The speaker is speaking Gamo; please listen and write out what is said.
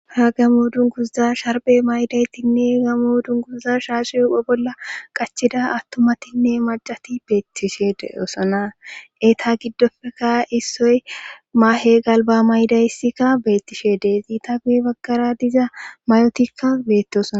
ha gamoodun guzza sharbe maydaytinne gamoodun guza shaashu yopo bolla qachida attomatinne macati beettishede osana eeta giddofeka issoy maahe galba maydaysikka bettishedee ziita guye baggara diza mayotikka beette osna